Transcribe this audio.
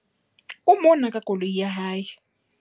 O mona ka koloi ya hae.